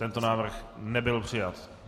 Tento návrh nebyl přijat.